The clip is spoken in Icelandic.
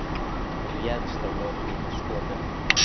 Réðst á lögreglu með skoteldum